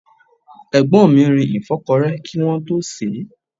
Egbon mi rin ìfọ́kọrẹ́ kí wọ́n tó sèé.